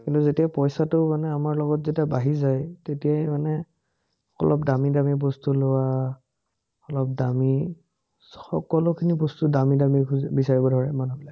কিন্তু, যেতিয়া পইচাতো মানে আমাৰ লগত যেতিয়া বাঢ়ি যায়, তেতিয়াই মানে অলপ দামি দামি বস্তু লোৱা, অলপ দামি সকলোখিনি বস্তু দামি দামি বিচাৰিব ধৰে মানুহেবিলাকে